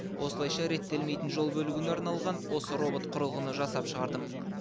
осылайша реттелмейтін жол бөлігіне арналған осы робот құрылғыны жасап шығардым